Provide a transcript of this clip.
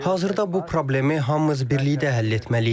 Hazırda bu problemi hamımız birlikdə həll etməliyik.